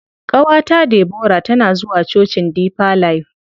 Ƙawata Debora tana zuwa cocin deeper life.